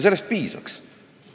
Sellest piisaks.